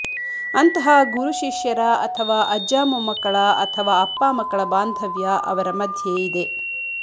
ಅಂತಹ ಗುರು ಶಿಷ್ಯರ ಅಥವಾ ಅಜ್ಜ ಮೊಮ್ಮಕ್ಕಳ ಅಥವಾ ಅಪ್ಪ ಮಕ್ಕಳ ಬಾಂಧವ್ಯ ಅವರ ಮಧ್ಯೆ ಇದೆ